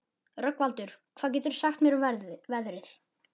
Rögnvaldur, hvað geturðu sagt mér um veðrið?